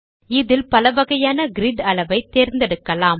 இதில் பலவகையான கிரிட் அளவை தேர்ந்தெடுக்கலாம்